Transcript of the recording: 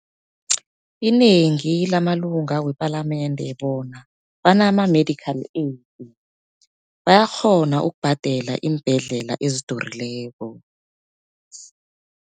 Inengi lamalunga wepalamende bona banama medical aid, bayakghona ukubhadela iimbhedlela ezidurileko.